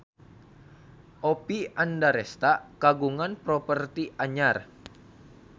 Oppie Andaresta kagungan properti anyar